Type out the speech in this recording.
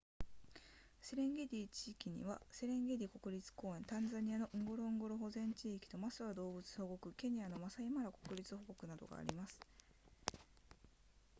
セレンゲティ地域にはセレンゲティ国立公園タンザニアのンゴロンゴロ保全地域とマスワ動物保護区ケニアのマサイマラ国立保護区などがあります